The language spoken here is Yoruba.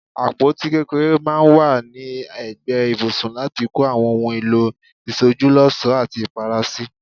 Àpótí kékeré maa n wa ni egbe ibùsùn lati ko Awon ohun èlò ìsojúlósòó ati Ìpara si.